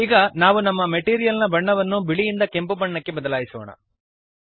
ಈಗ ನಾವು ನಮ್ಮ ಮೆಟೀರಿಯಲ್ ನ ಬಣ್ಣವನ್ನು ಬಿಳಿಯಿಂದ ಕೆಂಪು ಬಣ್ಣಕ್ಕೆ ಬದಲಾಯಿಸೋಣ